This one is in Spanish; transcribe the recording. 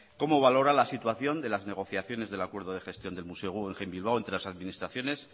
cómo valora la situación de las negociaciones del acuerdo de gestión del museo guggenheim bilbao entre las administraciones